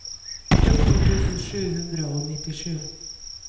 fjorten tusen sju hundre og nittisju